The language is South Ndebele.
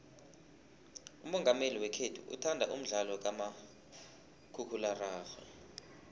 umongameli wekhethu uthanda umdlalo kamakhakhulararhwe